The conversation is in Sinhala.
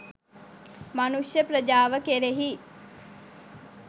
මනුෂ්‍ය ප්‍රජාව කෙරෙහි